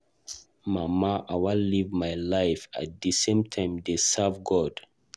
Mama I wan live my life at the same time dey serve God.